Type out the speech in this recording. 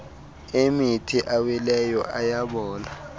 emithi awileyo ayabola